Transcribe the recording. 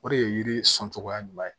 O de ye yiri sɔn cogoya ɲuman ye